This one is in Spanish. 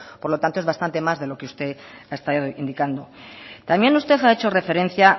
por lo tanto es bastante más de lo que usted está indicando también usted ha hecho referencia